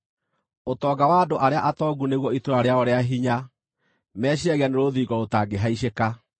Ũtonga wa andũ arĩa atongu nĩguo itũũra rĩao rĩa hinya; meciiragia nĩ rũthingo rũtangĩhaicĩka.